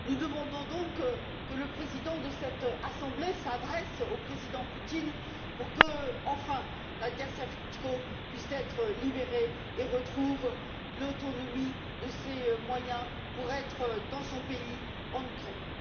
Nous demandons donc que le président de cette assemblée s'adresse au président Poutine pour qu'enfin Nadya Savchenko puisse être libérée et retrouve l'autonomie de ses moyens afin de rentrer dans son pays, en Ukraine.